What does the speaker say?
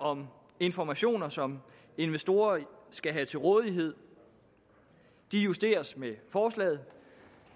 om informationer som investorer skal have til rådighed justeres med forslaget